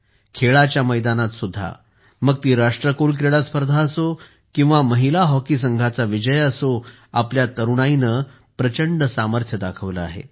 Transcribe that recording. खेळाच्या मैदानात सुद्धा मग ती राष्ट्रकुल क्रीडा स्पर्धा असो किंवा महिला हॉकी संघाचा विजय असो आपल्या तरुणाईने प्रचंड सामर्थ्य दाखवले आहे